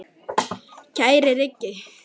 Kæri Rikki.